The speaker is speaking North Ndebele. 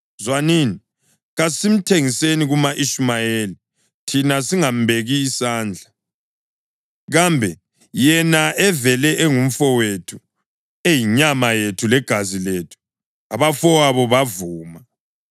Zwanini, kasimthengiseni kuma-Ishumayeli thina singambeki sandla; kambe yena evele engumfowethu, eyinyama yethu legazi lethu.” Abafowabo bavuma.